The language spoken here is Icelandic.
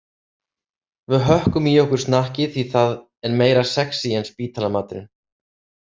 Við hökkum í okkur snakkið því að það er meira sexí en spítalamaturinn.